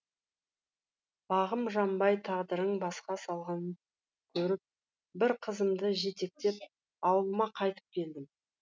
бағым жанбай тағдырың басқа салғанын көріп бір қызымды жетектеп ауылыма қайтып келдім